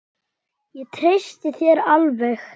Ég treysti þér alveg!